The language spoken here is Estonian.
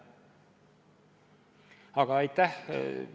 Aga aitäh!